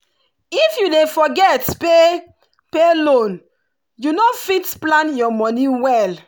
if you dey forget pay pay loan you no fit plan your money well.